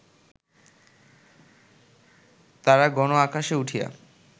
তারাগণ আকাশে উঠিয়া